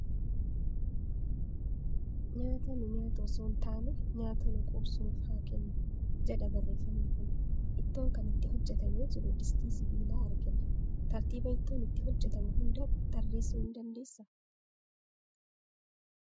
"Nyaata nu nyaatu osoo hin taane nyaata nu quubsu nuuf haa kennu" jedha barreeffamni kun. Ittoon kan itti hojjetamee jiru distii sibiilaa argina. Tartiiba ittoon itti hojjetamu hunda tarreessuu ni dandeessaa?